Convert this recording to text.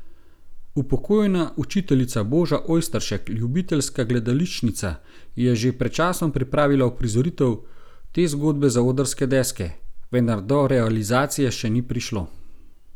Upokojena učiteljica Boža Ojsteršek, ljubiteljska gledališčnica, je že pred časom pripravila uprizoritev te zgodbe za odrske deske, vendar do realizacije še ni prišlo.